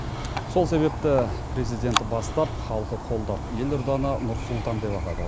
сол себепті президент бастап халқы қолдап елорданы нұр сұлтан деп атады